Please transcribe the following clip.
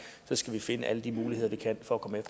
skal vi finde alle de muligheder vi kan for at komme